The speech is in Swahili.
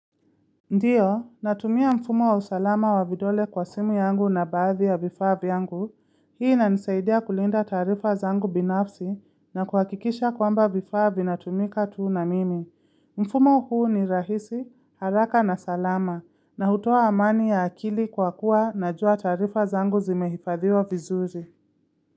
Ndio, natumia mfumo wa usalama wa vidole kwa simu yangu na baadhi ya vifaa vyangu, hii inanisaidia kulinda taarifa zangu binafsi na kuhakikisha kwamba vifaa vinatumika tu na mimi. Mfumo huu ni rahisi, haraka na salama, na hutoa amani ya akili kwa kuwa najua taarifa zangu zimehifadhiwa vizuri.